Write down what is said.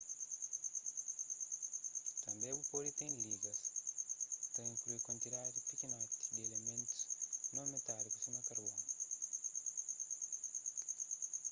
tanbê bu pode ten ligas ki ta inklui kuantidadi pikinoti di ilimentus non metáliku sima karbonu